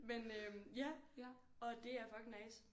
men øh ja og det er fucking nice